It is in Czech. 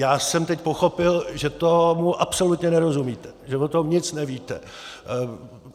Já jsem teď pochopil, že tomu absolutně nerozumíte, že o tom nic nevíte.